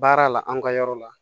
Baara la an ka yɔrɔ la